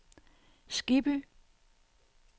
Skibby